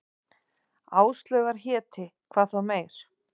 Áslaugar héti, hvað þá meir.